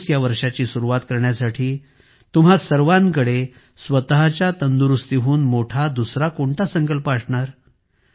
2024 या वर्षाची सुरुवात करण्यासाठी तुम्हा सर्वांकडे स्वतःच्या तंदुरुस्तीहून मोठा दुसरा कोणता संकल्प असणार